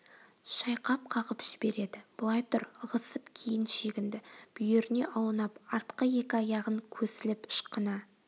шайқап қағып жібереді былай тұр ығысып кейін шегінді бүйіріне аунап артқы екі аяғын көсіліп ышқына